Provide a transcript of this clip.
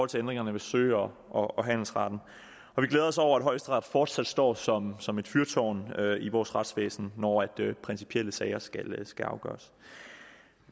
til ændringerne ved sø og og handelsretten vi glæder os over at højesteret fortsat står som som et fyrtårn i vores retsvæsen når principielle sager skal skal afgøres